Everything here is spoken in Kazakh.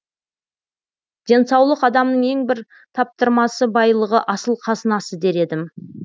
денсаулық адамның ең бір таптырмасы байлығы асыл қазынасы дер едім